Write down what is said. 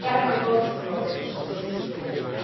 Daar hebben we boten voor nodig om ze terug te sturen.